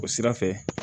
O sira fɛ